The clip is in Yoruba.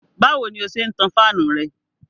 Báwo ni ó ṣe ń tan fáànù rẹ?